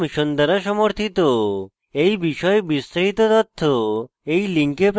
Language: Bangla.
এই বিষয়ে বিস্তারিত তথ্য এই link প্রাপ্তিসাধ্য